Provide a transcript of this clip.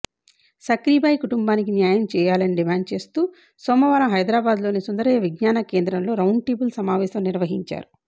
సక్రీబాయి కుటుంబానికి న్యాయం చేయాలని డిమాండ్ చేస్తూ సోమవారం హైదరాబాద్లోని సుందరయ్య విజ్ఞాన కేంద్రంలో రౌండ్టేబుల్ సమావేశం నిర్వహించారు